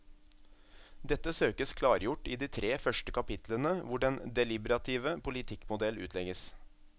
Dette søkes klargjort i de tre første kapitlene hvor den deliberative politikkmodell utlegges.